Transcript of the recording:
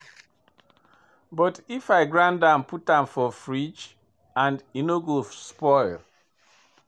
But I fit grind am put am for fridge and e no go spoil.